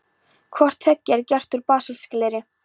Hvort tveggja er gert úr basaltgleri.